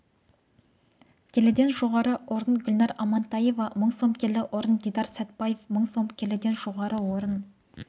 келіден жоғары орын гүлнар амантаева мың сом келі орын дидар сәтбаев сың сом келіден жоғары орын